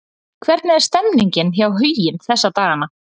Hvernig er stemningin hjá Huginn þessa dagana?